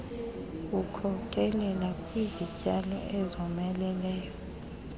wkhokelela kwizityalo ezomeleleyo